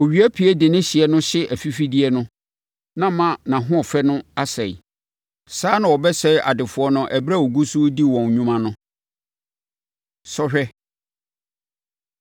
Owia pue de ne hyeɛ no hye afifideɛ no ma nʼahoɔfɛ no sɛe. Saa ara na wɔbɛsɛe adefoɔ no ɛberɛ a wɔgu so redi wɔn nnwuma no. Sɔhwɛ